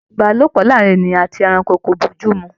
Ìbálòpọ̀ láàárín ènìyàn àti ẹranko kò bójú mu